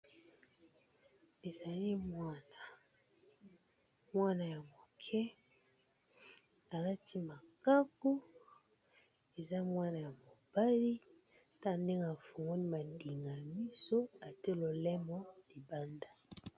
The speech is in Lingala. Ezali mwana ya muke a lati makaku, aza mwana ya mobali, tala ndenge a fungoli madinga ya miso a tié lolemo libanda .